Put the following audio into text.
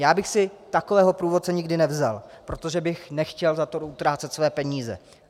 Já bych si takového průvodce nikdy nevzal, protože bych nechtěl za to utrácet svoje peníze.